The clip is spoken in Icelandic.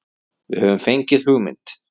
Við höfum fengið hugmynd.